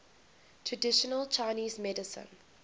traditional chinese medicine